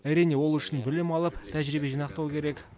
әрине ол үшін білім алып тәжірибе жинақтау керек